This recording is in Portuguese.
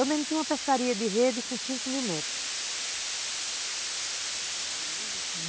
Eu mesmo tinha uma pescaria de rede com cinco mil metros.